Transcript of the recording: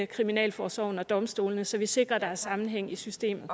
kriminalforsorgen og domstolene så vi sikrer der er sammenhæng i systemet